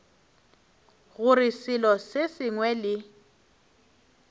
gore selo se sengwe le